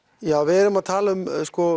já við erum að tala um